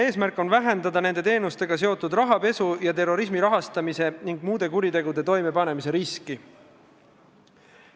Eesmärk on vähendada nende teenustega seotud rahapesu, terrorismi rahastamise ning muude kuritegude toimepanemise riski.